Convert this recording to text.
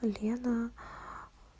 лена